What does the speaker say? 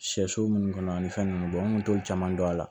Sɛso munnu kɔnɔ ani fɛn nunnu bɔn n kun t'o caman dɔn a la